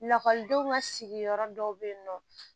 Lakɔlidenw ka sigiyɔrɔ dɔw bɛ yen nɔ